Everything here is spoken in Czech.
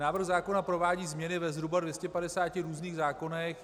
Návrh zákona provádí změny ve zhruba 250 různých zákonech.